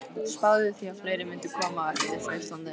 Spáði því að fleiri mundu koma á eftir frá Íslandi.